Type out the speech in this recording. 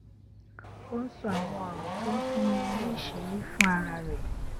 ó ń sọ àwọn òrò tó ń fúnni níṣìírí fún ara rè